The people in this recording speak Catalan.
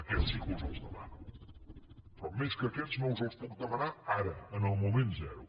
aquests sí que us els demano però més que aquests no us els puc demanar ara en el moment zero